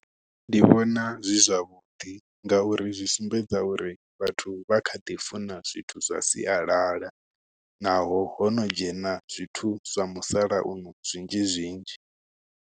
Nṋe ndi vhona zwi zwavhuḓi ngauri zwi sumbedza uri vhathu vha kha ḓi funa zwithu zwa sialala, naho hono dzhena zwithu zwa musalauno zwinzhi zwinzhi.